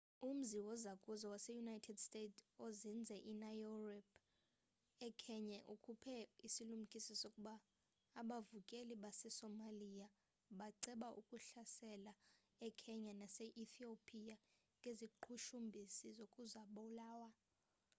umzi wozakuzo wase-united states ozinze enairobi ekenya ukhuphe isilumkiso sokuba abavukeli basesomalia baceba ukuhlasela ekenya nase-ethopia ngeziqhushumbisi zokuzibulala